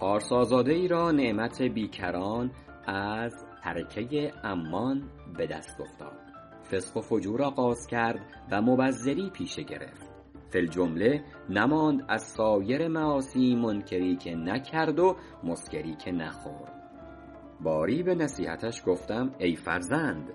پارسازاده ای را نعمت بیکران از ترکه عمان به دست افتاد فسق و فجور آغاز کرد و مبذری پیشه گرفت فی الجمله نماند از سایر معاصی منکری که نکرد و مسکری که نخورد باری به نصیحتش گفتم ای فرزند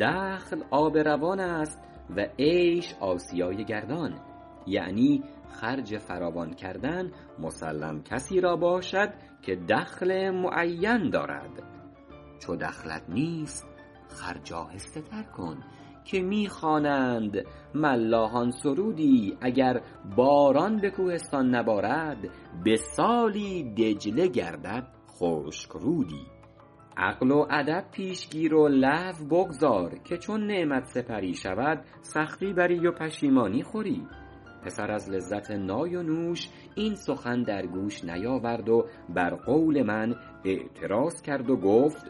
دخل آب روان است و عیش آسیای گردان یعنی خرج فراوان کردن مسلم کسی را باشد که دخل معین دارد چو دخلت نیست خرج آهسته تر کن که می گویند ملاحان سرودی اگر باران به کوهستان نبارد به سالی دجله گردد خشک رودی عقل و ادب پیش گیر و لهو و لعب بگذار که چون نعمت سپری شود سختی بری و پشیمانی خوری پسر از لذت نای و نوش این سخن در گوش نیاورد و بر قول من اعتراض کرد و گفت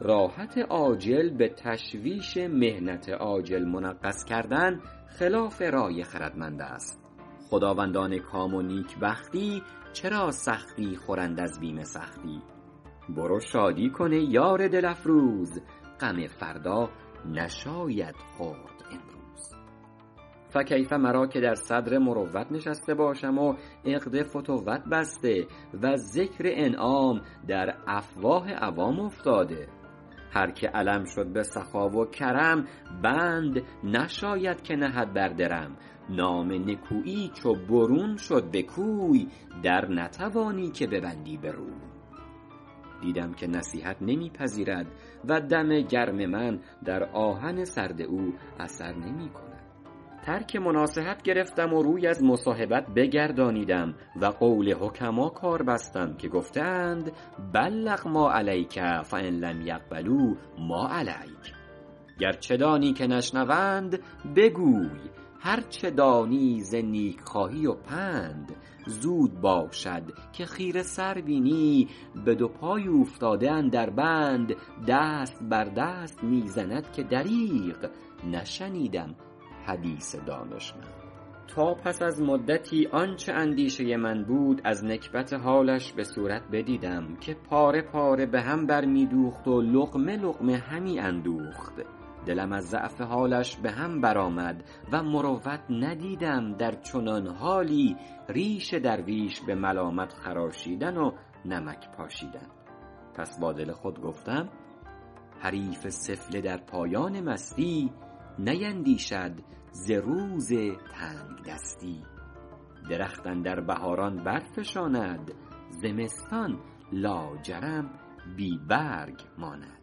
راحت عاجل به تشویش محنت آجل منغص کردن خلاف رای خردمند است خداوندان کام و نیکبختی چرا سختی خورند از بیم سختی برو شادی کن ای یار دل افروز غم فردا نشاید خورد امروز فکیف مرا که در صدر مروت نشسته باشم و عقد فتوت بسته و ذکر انعام در افواه عوام افتاده هر که علم شد به سخا و کرم بند نشاید که نهد بر درم نام نکویی چو برون شد به کوی در نتوانی که ببندی به روی دیدم که نصیحت نمی پذیرد و دم گرم من در آهن سرد او اثر نمی کند ترک مناصحت گرفتم و روی از مصاحبت بگردانیدم و قول حکما کار بستم که گفته اند بلغ ما علیک فان لم یقبلوا ما علیک گرچه دانی که نشنوند بگوی هر چه دانی ز نیکخواهی و پند زود باشد که خیره سر بینی به دو پای اوفتاده اندر بند دست بر دست می زند که دریغ نشنیدم حدیث دانشمند تا پس از مدتی آنچه اندیشه من بود از نکبت حالش به صورت بدیدم که پاره پاره به هم بر می دوخت و لقمه لقمه همی اندوخت دلم از ضعف حالش به هم بر آمد و مروت ندیدم در چنان حالی ریش درویش به ملامت خراشیدن و نمک پاشیدن پس با دل خود گفتم حریف سفله در پایان مستی نیندیشد ز روز تنگدستی درخت اندر بهاران بر فشاند زمستان لاجرم بی برگ ماند